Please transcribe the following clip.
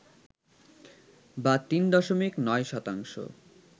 বা ৩.৯ শতাংশ